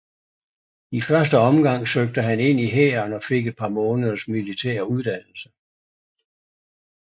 I første omgang søgte han ind i hæren og fik et par måneders militær uddannelse